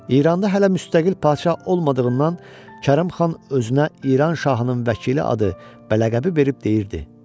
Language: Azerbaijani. İranda hələ müstəqil padşah olmadığından Kərim xan özünə İran şahının vəkili adı və ləqəbi verib deyirdi: